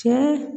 Cɛ